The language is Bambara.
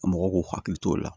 Mɔgɔw k'u hakili t'o la